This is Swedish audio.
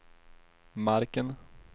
marken